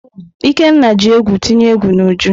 Ikenna ji egwu tinye egwu n'Uju.